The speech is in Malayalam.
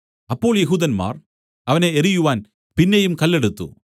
അപ്പോൾ യെഹൂദന്മാർ അവനെ എറിയുവാൻ പിന്നെയും കല്ല് എടുത്തു